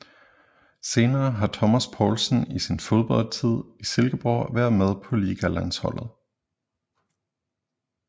Senere har Thomas Poulsen i sin fodboldtid i Silkeborg været med på Ligalandsholdet